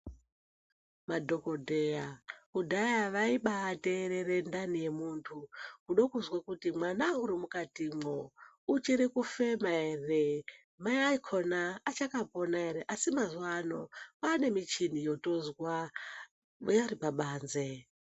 Madhokodheya kudhaya vaiba ateerera ndani yemuntu kuda kuzwa kuti mwana urimukatimwo uchirikufema ere, mai akhona achakapona ere. Asi mazuwa ano paanemuchini yotozwa iripabanze.